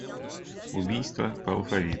убийство по алфавиту